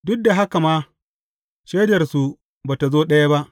Duk da haka ma, shaidarsu ba tă zo ɗaya ba.